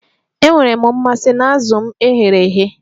Enwere m mmasị na azụ m e ghere eghe